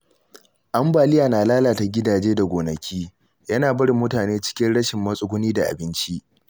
Ambaliya na lalata gidaje da gonaki, yana barin mutane cikin rashin matsuguni da abinci.